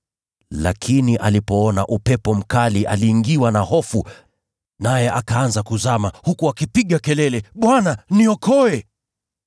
Lakini alipoona upepo mkali aliingiwa na hofu, naye akaanza kuzama, huku akipiga kelele, “Bwana, niokoe!”